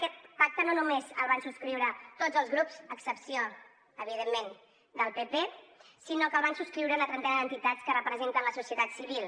aquest pacte no només el van subscriure tots els grups a excepció evidentment del pp sinó que el van subscriure una trentena d’entitats que representen la societat civil